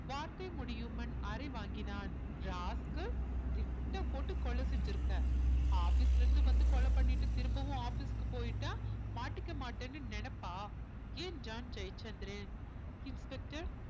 வார்த்தை முடியும்முன் அரை வாங்கினான் rascal திட்டம் போட்டு கொலை செஞ்சிருக்க office ல இருந்து வந்து கொலை பண்ணிட்டு திரும்பவும் office க்கு போயிட்டா மாட்டிக்க மாட்டேன்னு நினைப்பா என்றான் ஜெயச்சந்திரன் inspector